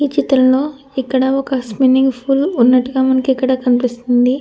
ఈ చిత్రంలో ఇక్కడ ఒక స్విమ్మింగ్ పూల్ ఉన్నట్టుగా మనకు ఇక్కడ కనిపిస్తుంది.